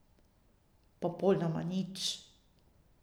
Popolnoma nič.